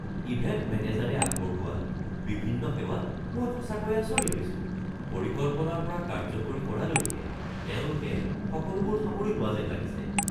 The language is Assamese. ইভেণ্ট মেনেজাৰে আগবঢ়োৱা বিভিন্ন সেৱাত মই সঁচাকৈয়ে আচৰিত হৈছো - পৰিকল্পনাৰ পৰা কাৰ্যকৰী কৰালৈকে তেওঁলোকে সকলোবোৰ সামৰি লোৱা যেন লাগিছে!